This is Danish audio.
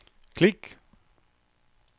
klik